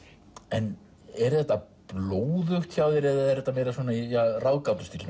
en er þetta blóðugt hjá þér eða er þetta meira í